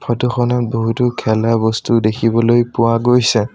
ফটোখনত বহুতো খেলা বস্তু দেখিবলৈ পোৱা গৈছে।